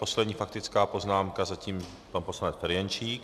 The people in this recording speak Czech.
Poslední faktická poznámka zatím pan poslanec Ferjenčík.